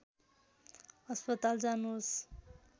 अस्पताल जानुहोस्